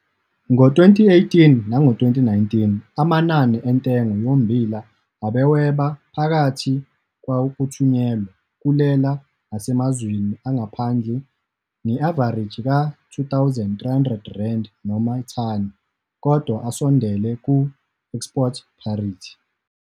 Ngo-2018, 2019, amanani entengo yommbila abewheba phakathi kwawokuthunyelwa kulela nasemazweni angaphandle nge-avareji ka-R2 300 noma thani, kodwa asondele ku-export parity.